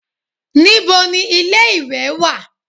Níbo ni ilé-ìwẹ̀ wà?